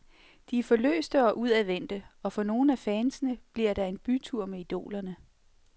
De er forløste og udadvendte, og for nogle af fansene bliver der en bytur med idolerne.